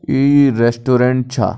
ई restaurant छा।